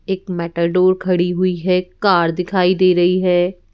एक मेटाडोर खड़ी हुई है कार दिखाई दे रही है।